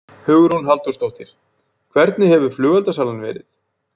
Hugrún Halldórsdóttir: Hvernig hefur flugeldasalan verið?